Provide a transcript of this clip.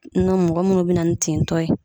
N go mɔgɔ munnu bena na ni tintɔ ye